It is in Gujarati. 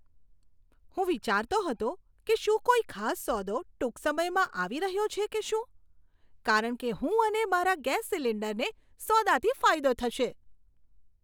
હું વિચારતો હતો કે શું કોઈ ખાસ સોદો ટૂંક સમયમાં આવી રહ્યો છે કે શું. કારણ કે હું અને મારા ગેસ સિલિન્ડરને સોદાથી ફાયદો થશે!